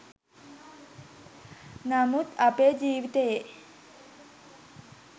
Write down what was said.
නමුත් අපේ ජීවිතයේ